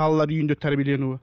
балалар үйінде тәрбиеленуі